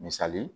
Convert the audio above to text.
Misali